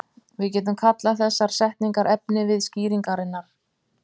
Við getum kallað þessar setningar efnivið skýringarinnar.